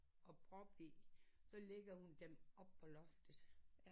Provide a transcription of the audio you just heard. Og prop så ligger hun dem op på loftet